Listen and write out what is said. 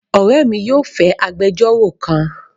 Ore mi yóò fẹ agbejoro kan